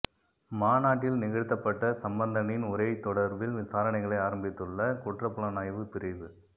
மாநாட்டில் நிகழ்த்தப்பட்ட சம்பந்தனின் உரை தொடர்பில் விசாரணைகளை ஆரம்பித்துள்ள குற்றப்புலனாய்வுப் பிரிவு